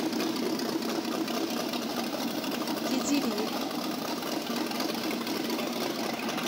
кедири